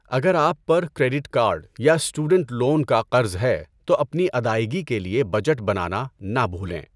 اگر آپ پر کریڈٹ کارڈ یا اسٹوڈنٹ لون کا قرض ہے تو اپنی ادائیگی کے لیے بجٹ بنانا نہ بھولیں۔